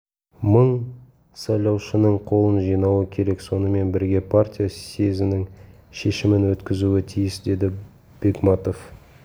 мың сайлаушының қолын жинауы керек сонымен бірге партия съезінің шешімін өткізуі тиіс деді бегматов